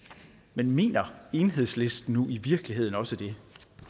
men mener enhedslisten nu i virkeligheden også det